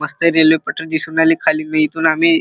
मस्त रेल्वे पटरी दिसुन राहीली खाली मी इथुन आम्ही--